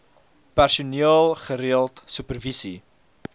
personeel gereeld supervisie